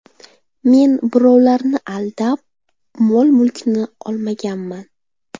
Men birovlarni aldab, mol-mulkini olmaganman.